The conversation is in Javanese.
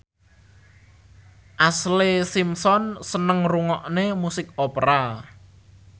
Ashlee Simpson seneng ngrungokne musik opera